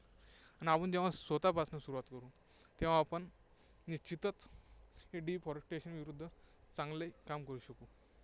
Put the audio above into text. आणि आपण जेव्हा स्वतःपासून सुरुवात करू, तेव्हा आपण निश्चितच deforestation विरुद्ध चांगले काम करू शकू.